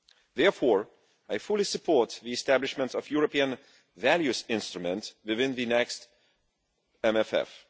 Therefore I fully support the establishment of the European values instrument within the next MFF.